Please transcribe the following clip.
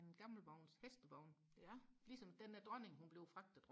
en gammel vogns hestevogn ligesom den dronningen hun blev fragtet